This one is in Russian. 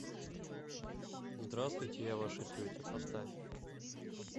здравствуйте я ваша тетя поставь